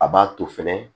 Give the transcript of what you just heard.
A b'a to fɛnɛ